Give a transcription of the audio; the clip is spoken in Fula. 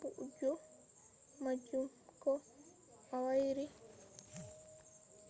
booju majum ko a wuri